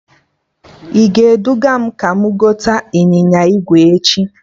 I ga-eduga m ka mụ gote ịnyịnya ígwè echi?